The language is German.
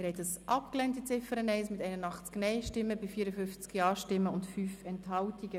Sie haben die Ziffer 1 abgelehnt mit 54 Ja- gegen 81 Nein-Stimmen bei 5 Enthaltungen.